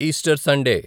Easter Sunday